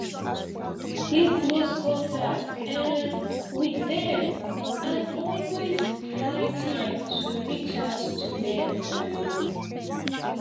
keep close contact um with them and always find time to reach out to them um